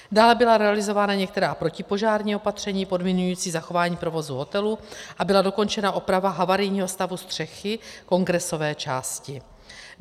Dále byla realizována některá protipožární opatření podmiňující zachování provozu hotelu a byla dokončena oprava havarijního stavu střechy kongresové části.